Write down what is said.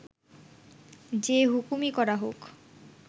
যে হুকুমই করা হোক